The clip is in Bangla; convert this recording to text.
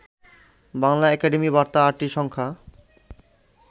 বাংলা একাডেমি বার্তা ৮টি সংখ্যা